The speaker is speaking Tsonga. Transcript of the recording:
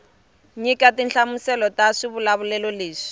nyika tinhlamuselo ta swivulavulelo leswi